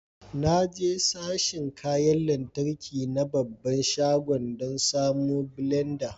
Na je sashin kayan lantarki na babban shagon dan samon blenda.